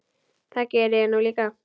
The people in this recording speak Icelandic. Það geri ég nú líka.